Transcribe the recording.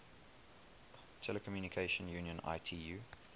telecommunication union itu